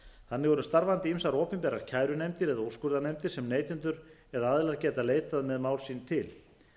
þannig eru starfandi ýmsar opinberar kærunefndir eða úrskurðarnefndir sem neytendur eða aðilar geta leitað með mál sín til